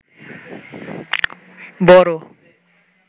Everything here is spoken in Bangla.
বড়